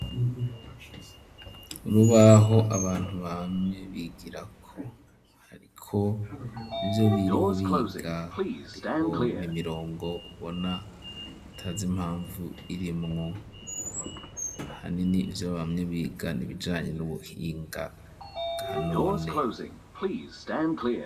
Urubaho abantu bamye bigirako, hariko ivyo biriwe biga, hariho n'imirongo ubona utazi impamvu irimwo, ahanini ivyo bamye biga ni ibijanye n'ubuhinga bwa none.